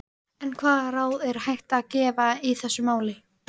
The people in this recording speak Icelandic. Þó mega þær ekki án hvor annarrar vera.